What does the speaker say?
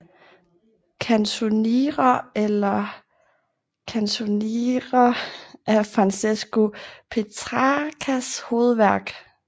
Canzoniere eller Il Canzionere er Francesco Petrarcas hovedværk